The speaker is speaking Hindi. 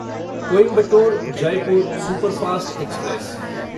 Coimbatore Jaipur superfast express